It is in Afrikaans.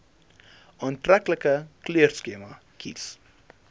aantreklike kleurskema kies